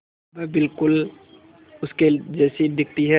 वह बिल्कुल उसके जैसी दिखती है